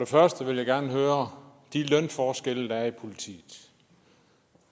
først vil jeg gerne høre de lønforskelle der er i politiet